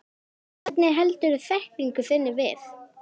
Hvernig heldurðu þekkingu þinni við?